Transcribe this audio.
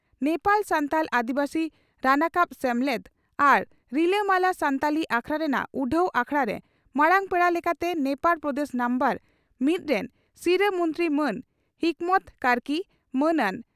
ᱱᱮᱯᱟᱞ ᱥᱟᱱᱛᱷᱟᱞ ᱟᱹᱫᱤᱵᱟᱹᱥᱤ ᱨᱟᱱᱟᱠᱟᱵ ᱥᱮᱢᱞᱮᱫ ᱟᱨ ᱨᱤᱞᱟᱹᱢᱟᱞᱟ ᱥᱟᱱᱛᱷᱟᱞᱤ ᱟᱠᱷᱲᱟ ᱨᱮᱱᱟᱜ ᱩᱰᱷᱟᱹᱣ ᱟᱠᱷᱲᱟᱨᱮ ᱢᱟᱨᱟᱝ ᱯᱮᱲᱟ ᱞᱮᱠᱟᱛᱮ ᱱᱮᱯᱟᱲ ᱯᱨᱚᱫᱮᱥ ᱱᱟᱢᱵᱟᱨᱼᱢᱤᱛ ᱨᱮᱱ ᱥᱤᱨᱟᱹ ᱢᱚᱱᱛᱨᱤ ᱢᱟᱹᱱ ᱦᱤᱠᱢᱚᱛ ᱠᱟᱹᱨᱠᱤᱹ ᱢᱟᱹᱱᱟᱱ ᱾